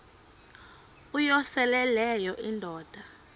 uyosele leyo indoda